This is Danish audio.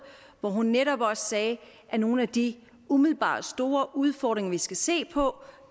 og hun sagde netop også at nogle af de umiddelbart store udfordringer vi skal se på